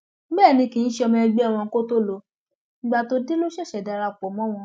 bẹẹ ni kì í ṣe ọmọ ẹgbẹ wọn kó tóó lo ìgbà tó dé ló ṣẹṣẹ darapọ mọ wọn